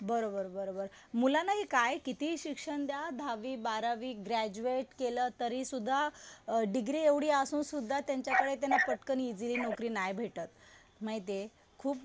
बरोबर बरोबर. मुलांना हि काय कितीही शिक्षण द्या. दहावी, बारावी, ग्रॅज्युएट केलं तरी सुद्धा डिग्री एवढी असून सुद्धा त्यांच्याकडे. त्यांना पटकन इजिली नोकरी नाही भेटत. माहितीये खूप